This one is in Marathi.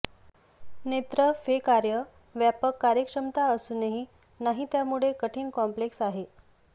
नेत्र फे कार्य व्यापक कार्यक्षमता असूनही नाही त्यामुळे कठीण कॉम्प्लेक्स आहे